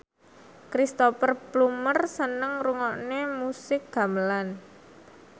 Cristhoper Plumer seneng ngrungokne musik gamelan